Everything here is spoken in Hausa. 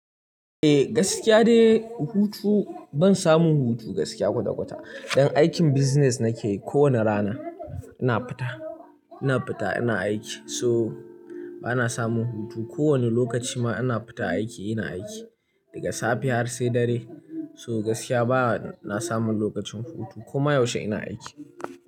Eh gaskiya dai hutu ban samu hutu gaskiya kwata-kwata. Don aikin business nake kowane rana ina fita, ina fita ina aiki so bana samun hutu. Ko wane lokaci ma ina fita aiki ina aiki daga safe har sai dare. So gaskiya bana samun lokacin hutu koma yaushe ina aiki.